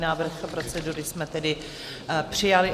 Návrh procedury jsme tedy přijali.